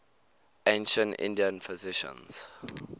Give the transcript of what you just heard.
ancient indian physicians